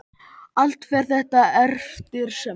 Allt fer þetta eftir smekk.